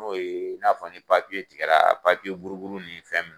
N'o ye n'a fɔ ni tigɛra buru buru ninnu